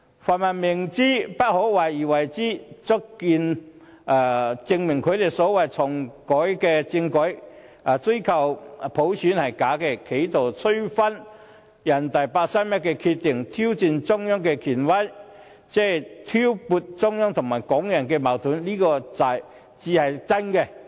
泛民明知不可為而為之，亦足以證明他們要求重啟政改及追求普選是假的，企圖推翻人大常委會八三一決定、挑戰中央的權威及挑撥中央和港人的矛盾才是真正的目的。